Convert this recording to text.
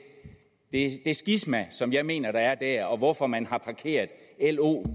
skisma som jeg mener er der og hvorfor man har parkeret lo